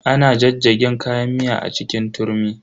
Ana jajjagen kayan miya a cikin turmi.